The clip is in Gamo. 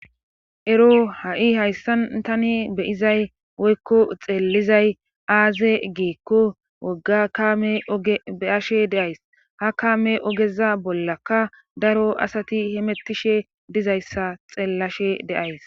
Ero ha'i hayssan tani beyizay woykko xeellizay aaze geekko wogga kaame beyashe deays ha kaame ogeza bollaka daro asati hemettishe dizayssa xeellashe deays